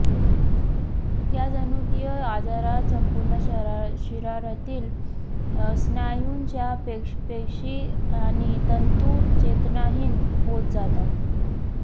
या जनुकीय आजारात संपूर्ण शरीरातील स्नायूंच्या पेशी आणि तंतू चेतनाहीन होत जातात